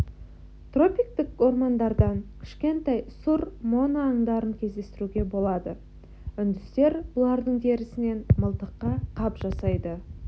тропиктік ормандардан кішкентай сұр моно аңдарын кездестіруге болады үндістер бұлардың терісінен мылтыққа қап жасайды